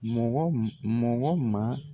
Mɔgɔ mɔgɔ ma